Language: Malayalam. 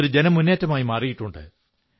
അതൊരു ജനമുന്നേറ്റമായി മാറിയിട്ടുണ്ട്